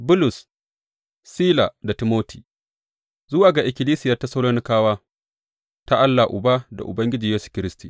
Bulus, Sila da Timoti, Zuwa ga ikkilisiyar Tessalonikawa ta Allah Uba da Ubangiji Yesu Kiristi.